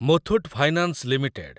Muthoot finance limited